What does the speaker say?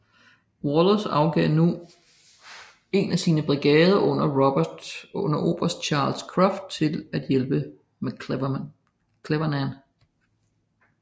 Wallace afgav nu en af sine brigader under oberst Charles Cruft til at hjælpe McClernand